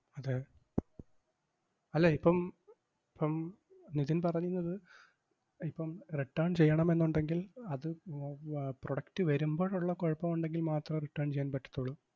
അതെ അല്ല, ഇപ്പം ~പ്പം നിധിൻ പറയുന്നത് ഇപ്പം return ചെയ്യണമെന്നൊണ്ടെങ്കിൽ അത് ഉം ആഹ് product വരുമ്പോഴൊള്ള കൊഴപ്പം ഒണ്ടെങ്കിൽ മാത്രമേ return ചെയ്യാൻ പറ്റത്തോളൂ.